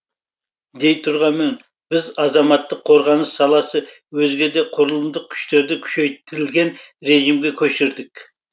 дей тұрғанмен біз азаматтық қорғаныс саласы өзге де құрылымдық күштерді күшейтілген режимге көшірдік